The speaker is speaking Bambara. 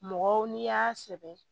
Mɔgɔw n'i y'a sɛbɛn